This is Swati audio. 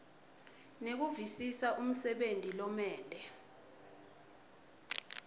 nekuvisisa umsebenti lomele